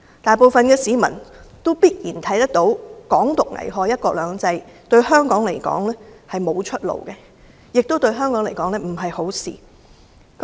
大部分市民必然看得到"港獨"危害"一國兩制"，對香港來說並非出路，亦不是好事。